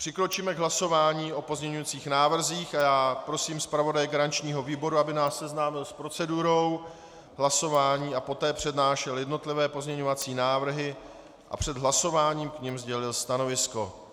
Přikročíme k hlasování o pozměňovacích návrzích a já prosím zpravodaje garančního výboru, aby nás seznámil s procedurou hlasování a poté přednášel jednotlivé pozměňovací návrhy a před hlasováním k nim sdělil stanovisko.